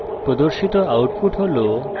প্রদর্শিত output হল